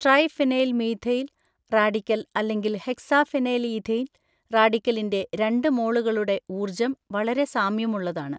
Triphenyl methyl radical അല്ലെങ്കിൽ hexaphenylethane റാഡിക്കലിന്റെ രണ്ട് മോളുകളുടെ ഊർജ്ജം വളരെ സാമ്യമുള്ളതാണ്.